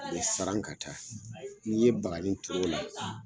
U ye saran ka taa n'i ye bagani turu o la